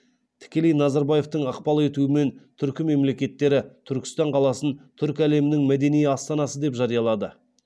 тікелей назарбаевтың ықпал етуімен түркі мемлекеттері түркістан қаласын түрік әлемінің мәдени астанасы деп жариялады